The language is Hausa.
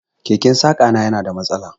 Keken saƙa na yana da mastala.